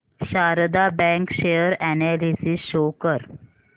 Sharda bank share analysis show कर